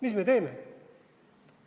Mis me teeme?